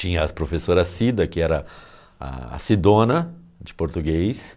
Tinha a professora Cida, que era a Cidona, de português.